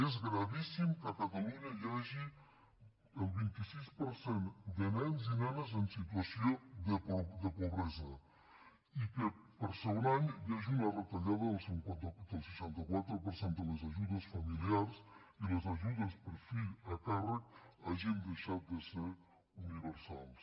és gravíssim que a catalunya hi hagi el vint sis per cent de nens i nenes en situació de pobresa i que per segon any hi hagi una retallada del seixanta quatre per cent de les ajudes familiars i les ajudes per fill a càrrec hagin deixat de ser universals